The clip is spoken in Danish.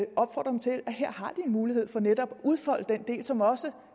her har de mulighed for netop at udfolde den del som også